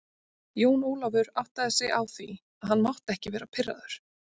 Jón Ólafur áttaði sig á því að hann mátti ekki vera pirraður.